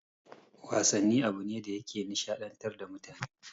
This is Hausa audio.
Wasanni abune da yake nishaɗantar da mutane